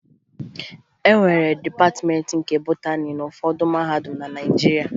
E nwere Dịpatịmeentị nke Botani n'ụfọdụ mahadum na Naịjirịa